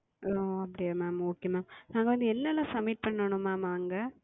ஓ அப்படியா Mam okay Mam நாங்கள் வந்து என்ன என்ன Submit செய்யனும் Mam அங்கே